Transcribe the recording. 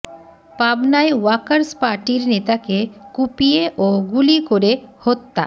পাবনায় ওয়ার্কার্স পার্টির নেতাকে কুপিয়ে ও গুলি করে হত্যা